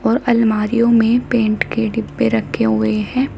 और अलमारियों में पेंट के डिब्बे रखे हुए हैं।